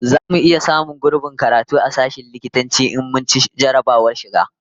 Zamu iya samun gurbin karatu a sashen likitanci in mun ci jarrabawar shiga?